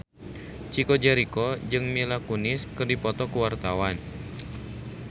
Chico Jericho jeung Mila Kunis keur dipoto ku wartawan